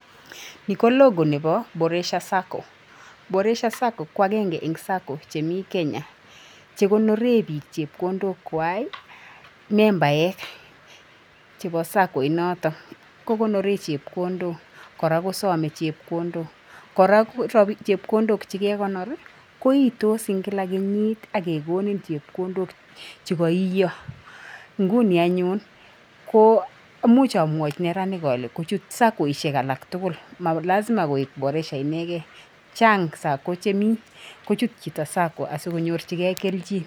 Ni ko Logo neboo Boresha Sacco. Boresha Sacco ko agenge eng' sacco chemi Kenya. Che konoren biik chepkondokwak. Membaek cheboo sacco inoto kokonoren chepkondok koraa, ko some chepkondok koraa, ko chepkondok che kekonor koiitos en kila kenyit ak kekonin chepkondok che koiiyo. Nguni anyun, ko imuch amwochi neranek ole kochut saccoishek alak tugul. Ma lazima koik Boresha inegei, chang' sacco chemi kochut chito sacco asikonyorjigei keljin.